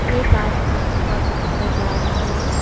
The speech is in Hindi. एक आदमी गुफा के अंदर जा रहा है।